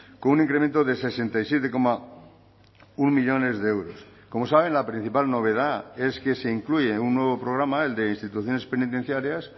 con un incremento de sesenta y siete coma uno millónes de euros como saben la principal novedad es que se incluye un nuevo programa el de instituciones penitenciarias